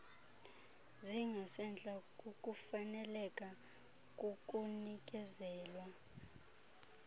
zingasentla kukufaneleka kukunikezelwa